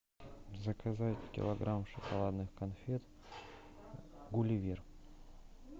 заказать килограмм шоколадных конфет гулливер